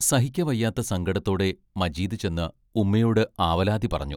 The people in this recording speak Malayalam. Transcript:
സഹിക്കവയ്യാത്ത സങ്കടത്തോടെ മജീദ് ചെന്ന് ഉമ്മയോട് ആവലാതി പറഞ്ഞു.